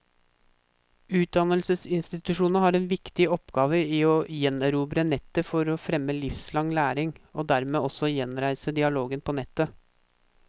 Utdannelsesinstitusjonene har en viktig oppgave i å gjenerobre nettet for å fremme livslang læring, og dermed også gjenreise dialogen på nettet.